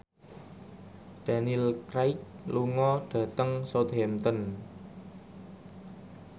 Daniel Craig lunga dhateng Southampton